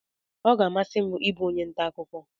Ọ ga amasi m ịbụ onye ntà akụkọ.